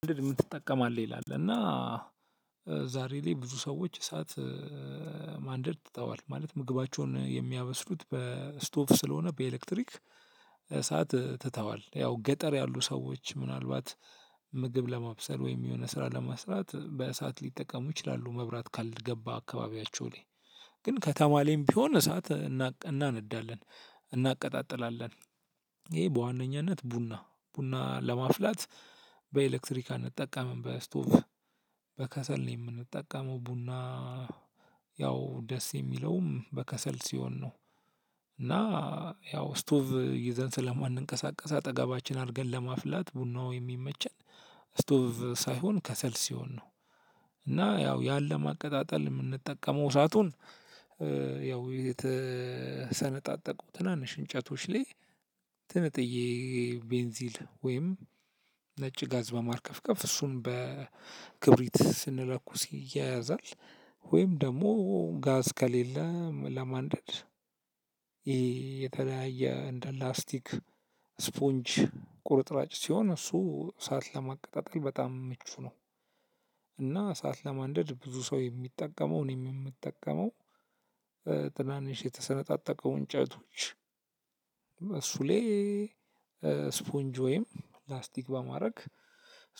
ማንደር የምትጠቀማለህ ይላል እና ዛሬ ላይ ብዙ ሰዎች እሳት ማንደድ ትተዋል ማለት ምግባቸውን የሚያበስሉት በስቶቭ ስለሆነ በኤሌክትሪክ እሳት ትተዋል ያው ገጠር ያሉ ሰዎች ምናልባት ምግብ ለማብሰል ወይም የሆነ ስራ ለመስራት በእሳት ሊጠቀሙ ይችላሉ። መብራት ካልገባ አካባቢያቸው ላይ ግን ከተማ ላይም ቢሆን እሳት እናነዳለን እናቀጣጥላለን። ይሄ በዋነኛነት ቡና ቡና ለማፍላት በኤሌክትሪክ አንጠቀምም በስቶቭ በከሰል ነው የምንጠቀመው ቡና ያው ደስ የሚለውም በከሰል ሲሆን ነው። እና ያው ስቶቭ ይዘን ስለ ማንቀሳቀስ አጠገባችን አርገን ለማፍላት ቡናው የሚመቸን ስቶቭ ሳይሆን ከሰል ሲሆን ነው። እና ያው ያ ለማቀጣጠል የምንጠቀመው እሳቱን እ ያው የተሰነጣጠቁ ትናንሽ እንጨቶች ላይ ትንጥየ ቤንዚል ወይም ነጭ ጋዝ በማከርከፍ እሱም በክርቢት ስንለኩስ ይያያዛል። ወይም ደሞ ጋዝ ከሌለ ለማንደድ ይሄ የተለያየ እንደ ላስቲክ ስፖንጅ ቁርጥራጭ ሲሆን እሱ እሳት ለማቀጣጠል በጣም ምቹ ነው። እና እሳት ለማንደድ ብዙ ሰው የሚጠቀመው እኔም የምጠቀመው ጥናንሽ የተሰነጣጠቀው እንጨቶች እሱ ላይ ስፖንጅ ወይም ፕላስቲክ በማድረግ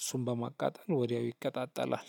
እሱን በማቃጠል ወዲያው ይቀጣጠላል።